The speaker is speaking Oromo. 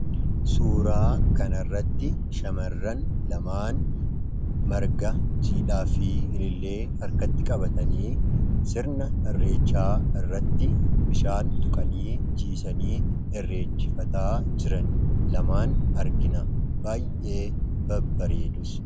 suuraa kan irratti shamarran lamaan marga jiidhaa fi ilillee harkatti qabatanii sirna irreechaa irratti bishaan tuqanii jiisanii irreeffachaa jiran lamaan argina baayyee babbareedus.